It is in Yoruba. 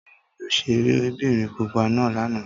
Tóbi rí òṣèré bìnrin pupa náà lánàá.